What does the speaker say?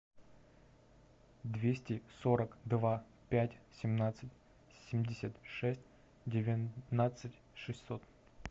двести сорок два пять семнадцать семьдесят шесть девятнадцать шестьсот